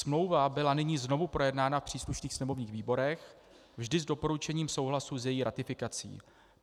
Smlouva byla nyní znovu projednána v příslušných sněmovních výborech, vždy s doporučením souhlasu s její ratifikací.